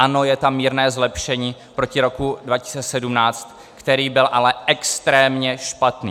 Ano, je tam mírné zlepšení proti roku 2017, který byl ale extrémně špatný.